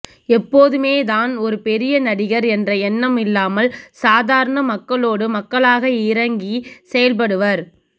எப்போதுமே தான் ஒரு பெரிய நடிகர் என்ற எண்ணம் இல்லாமல் சாதரண மக்களோடு மக்களாக இறங்கி செயல்படுபவர்